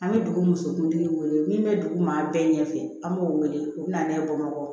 An bɛ dugu musonkuntigi wele min bɛ dugu ma bɛɛ ɲɛfɛ an b'o wele o bɛ na n'a ye bamakɔ